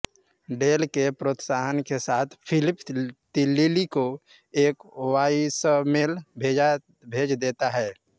del के प्रोत्साहन के साथ फिलिप लिली को एक वॉइसमेल भेज देता है